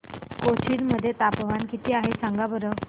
कोचीन मध्ये तापमान किती आहे सांगा बरं